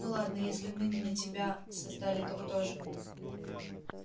ну ладно если не мы тебя создали то кто же